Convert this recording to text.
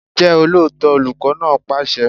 Jẹ́ olóòótọ́! Olùkọ́ náà pàṣẹ.